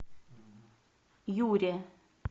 юре